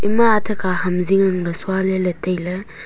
ema athe kha ham zing ang ley sua ley tai ley.